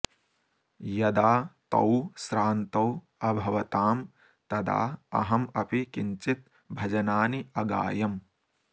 यदा तौ श्रान्तौ अभवतां तदा अहम् अपि किञ्चित् भजनानि अगायम्